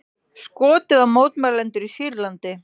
Skotið á mótmælendur í Sýrlandi